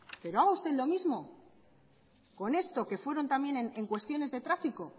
pero haga usted lo mismo con esto que fueron también en cuestiones de tráfico